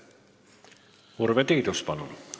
Urve Tiidus, palun!